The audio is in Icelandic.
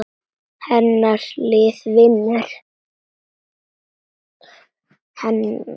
Hennar lið vinnur.